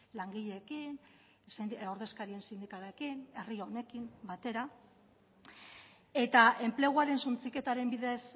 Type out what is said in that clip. langileekin ordezkarien sindikalekin herri honekin batera eta enpleguaren suntsiketaren bidez